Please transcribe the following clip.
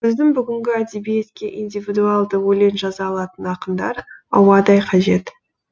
біздің бүгінгі әдебиетке индивидуалды өлең жаза алатын ақындар ауадай қажет